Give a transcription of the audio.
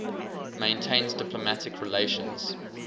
maintains diplomatic relations